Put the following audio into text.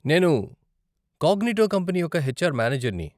నేను Cognito company యొక్క HR మానేజర్ని.